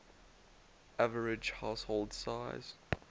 average household size